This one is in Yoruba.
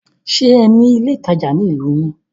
Ṣe ní ilé ìtajà ní ìlú yín?